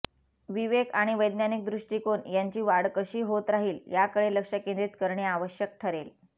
विवेक आणि वैज्ञानिक दृष्टिकोन यांची वाढ कशी होत राहील याकडे लक्ष केंद्रित करणे आवश्यक ठरेल